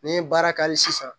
Ni n ye baara ka hali sisan